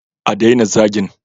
A daina zagin